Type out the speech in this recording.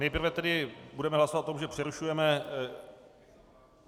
Nejprve tedy budeme hlasovat o tom, že přerušujeme...